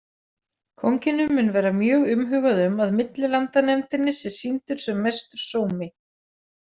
Kónginum mun vera mjög umhugað um að millilandanefndinni sé sýndur sem mestur sómi.